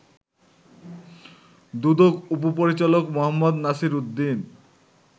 দুদক উপপরিচালক মো. নাসির উদ্দিন